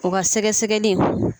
o ka sɛgɛsɛgɛli.